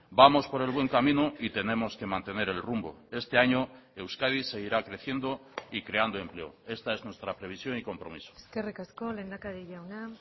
vamos por el buen camino y tenemos que mantener el rumbo este año euskadi seguirá creciendo y creando empleo esta es nuestra previsión y compromiso eskerrik asko lehendakari jauna